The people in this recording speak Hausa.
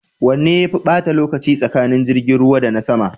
Wanne yafe bata lokaci tsakanin jirgin ruwa da na sama?